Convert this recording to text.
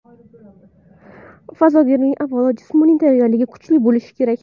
Fazogirning avvalo jismoniy tayyorgarligi kuchli bo‘lishi kerak.